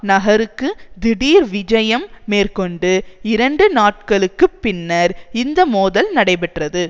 நகருக்கு திடீர் விஜயம் மேற்கொண்டு இரண்டு நாட்களுக்கு பின்னர் இந்த மோதல் நடைபெற்றது